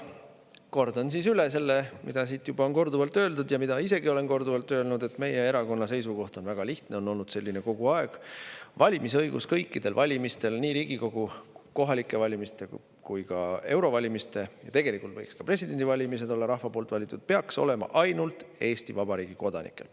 Kordan siis üle selle, mida siin on juba korduvalt öeldud ja mida ma isegi olen korduvalt öelnud, et meie erakonna seisukoht on väga lihtne, see on olnud selline kogu aeg: valimisõigus kõikidel valimistel, nii Riigikogu valimistel, kohalikel valimistel kui ka eurovalimistel – ja tegelikult võiks ka president olla rahva poolt valitud – peaks olema ainult Eesti Vabariigi kodanikel.